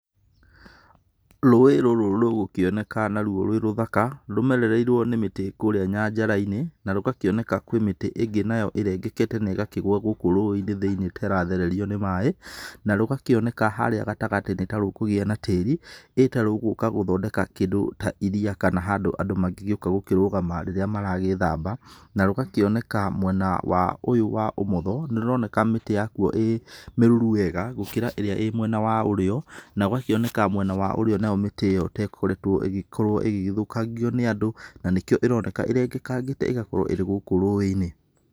Rũĩ rũrũ rũgũkĩoneka narũo rwĩ rũthaka, rũmerereirwo nĩ mĩtĩ kũrĩa nyanjara-inĩ, na rũgakĩoneka kwĩ mĩtĩ ĩngĩ nayo ĩrengekete na ĩgakĩgũa gũkũ rũĩ-inĩ thĩ-inĩ ta ĩrathererio nĩ maĩ, na rũgakĩoneka harĩa gatagatĩ nĩ ta rũkũgĩa na tĩri, ĩ ta rũgũka gũthondeka kĩndũ ta iria kana handũ andũ mangĩgĩũka gũkĩrũgama rĩrĩa maragĩthamba, na rũgakĩoneka mwena wa ũyũ wa ũmotho, nĩ rũroneka mĩtĩ yakuo ĩ mĩruru wega, gũkĩra ĩrĩa ĩ mwena wa ũrĩo, na gũgakioneka mwena wa ũrĩo nayo mĩtĩ ĩyo ta ĩkoretwo ĩgĩkorwo ĩgĩgĩthũkangio nĩ andũ na nĩkĩo ĩroneka ĩrengekangĩte ĩgakorwo ĩrĩ gũkũ rũĩ-inĩ.